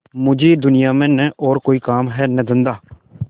मुझे दुनिया में न और कोई काम है न धंधा